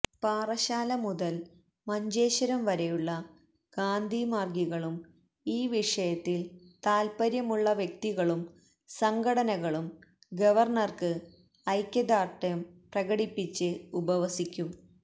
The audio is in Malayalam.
പാറശാല മുതല് മഞ്ചേശ്വരം വരെയുള്ള ഗാന്ധിമാര്ഗികളും ഈ വിഷയത്തില് താല്പര്യം ഉള്ള വ്യക്തികളും സംഘടനകളും ഗവര്ണര്ക്ക് ഐക്യദാര്ഢ്യം പ്രകടിപ്പിച്ച് ഉപവസിക്കും